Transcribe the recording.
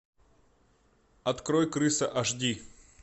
открой крыса аш ди